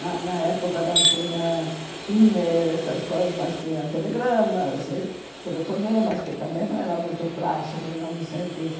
Na na época não tinha e-mail, essas coisas, mas tinha telegramas e telefonemas, que também não eram muito mil novecentos e